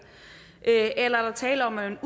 eller er der tale om at man